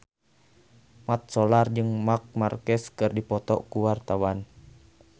Mat Solar jeung Marc Marquez keur dipoto ku wartawan